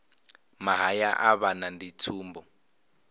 mahaya a vhana ndi tsumbo